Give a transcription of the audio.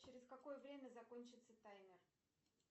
через какое время закончится таймер